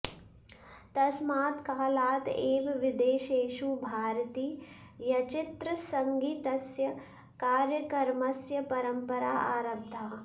तस्मात् कालात् एव विदेशेषु भारतीयचच्चित्रसङ्गीतस्य कार्यकर्मस्य परम्परा आरब्धा